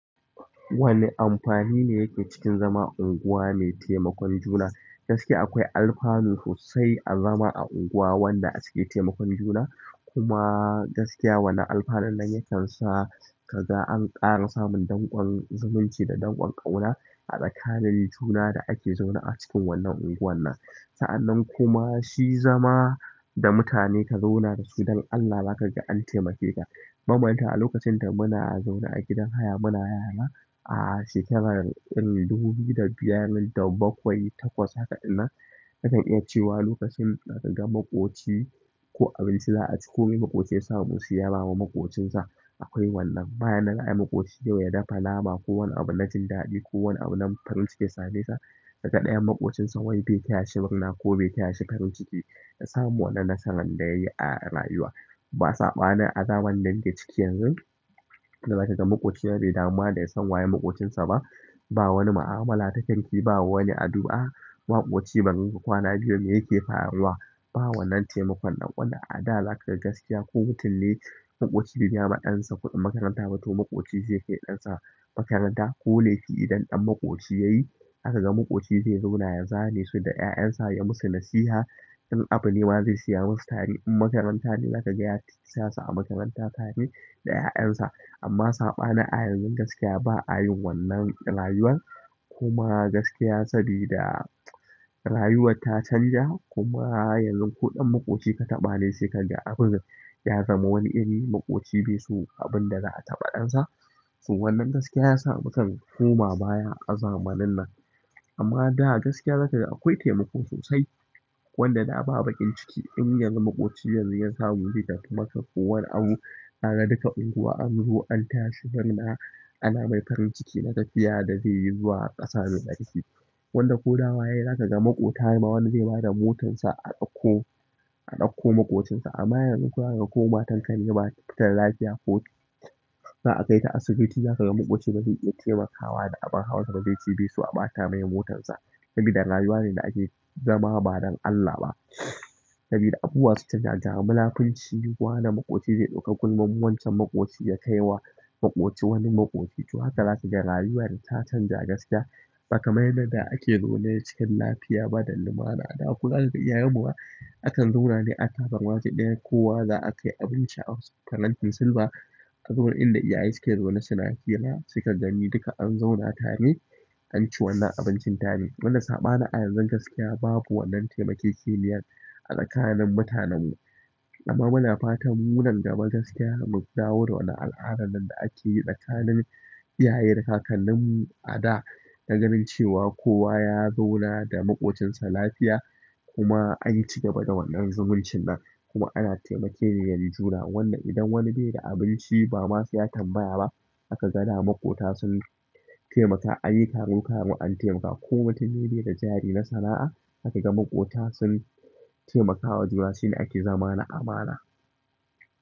Wani amfani ne yake cikin zama unguwa mai taimakon juna? Gaskiya akwai alfanu sosai a zama a unguwa wadda ake taimakon juna kuma gaskiya wannan alfanun nan yakan sa ka ga an ƙara samun dangon zumunci da dangon ƙauna a tsakanin juna da ake zaune a cikin wannan unguwar nan. Sa'annan kuma shi zama da mutane ka zauna da su, don Allah za ka ga an taimake ka. Banmanta a lokacin da muna zaune a gidan haya muna yara a shekarar irin dubu biyu da biyar da bakwai da takwas haka ɗinnan, na kan iya cewa lokacin da idan maƙoci ko abinci za a ci ko me maƙoci ya samu saiya bawa maƙocinsa, akwai wannan. Bayan nan ai maƙoci yau ya dafa namama ko wani abu na jin daɗi ko wani abu nan farin ciki ya same sa, daga ɗayan maƙocinsa wai bai taya shi murna ko bai taya shi farin ciki ya samu wannan nasarar da yayi a rayuwa. Ba saɓanin a zamanin da muke ciki yanzu wanda za kaga maƙoci bai damu ma yasan wanene maƙocinsa ba ba wani ma'amala ta kirki ba wani addu'a maƙoci ba zaiyi kwana biyu mai yake faruwa ba wannan taimakon ɗan ƙula. A da zaka ga gaskiya ko mutum ne maƙoci ya biya ma ɗansa kuɗin makaranta ba to maƙoci zai kai ɗansa makaranta ko lefi idan ɗan maƙoci yayi, haka ga maƙoci zai zauna yana zane su da 'ƴaƴan sa, ya musu nasiha. In abu ne wa zai siya musu tare, in makaranta ne zaka ga ya sa su a makaranta tare da 'ya'yan sa. Amma saɓanin a yanzun gaskiya ba a yin wannan rayuwar. Kuma gaskiya sabida rayuwar ta canja kuma yanzu ko ɗan maƙoci ka taɓa ne sai kan ga abun ya zama wani iri maƙoci be so abun da za a taɓa ɗan sa. To wannan gaskiya ya sa mukan koma baya a zamanin nan. Amma da gaskiya za kaga akwai temako sosai wanda da ba baƙin ciki in yanzu maƙoci yanzu ya samu zai tafi makka ko wani abu, ka ga duka unguwa an zo an tayashi muna ana mai farin ciki na tafiya da zai yi zuwa ƙasa mai tsarki. Wanda ko dawo wa yayi za ka ga maƙota wani zai bada motansa a ɗauko, a ɗauko maƙocinsa. Amma yanzu ko matan ka ne bata da lapia ko zaa kaita asibiti za kaga maƙoci bazai iya temakawa da abun hawansa ba zai ce be so a ɓata masa motarsa saboda rayuwa ne da ake zama ba don Allah ba sabida abubuwa sun canja, ga munafunci wane maƙoci zai ɗauka gulman wancan maƙoci ya kai wa maƙoci wani maƙoci. To haka za ka ga rayuwar ta canja gaskiya. Ba ka mai yadda da ake zaune cikin lafiya ba don lumana. Da kullum za kaga iyayen muma akan zaune ne a tabarma ɗaya kowa za a kai abinci a farantin silba. Saboda inda iyaye suke zaune suna hira sai ka gani duka an zauna tare, an ci wannan abincin tare. Wanda saɓanin a yanzun gaskiya babu wannan taimake-keniyar a tsakanin mutanen mu. Amma muna fatan munan gaba gaskiya mu dawo da wannan al'adar nan da ake yi tsakanin iyaye da kakannin mu a da. Naganin cewa kowa ya zauna da maƙocinsa lafiya kuma an cigaba da wannan zumuncin nan. Kuma ana taimkeni yan juna. Wanda idan wani bai da abinci ba ma sai ya tambaya ba aka ga da maƙota sun taimaka, an yi karo karo an taimaka. Ko mutum ne bai da jari na sana'a, za ka ga maƙota sun taimakawa juna shine ake zama na amana.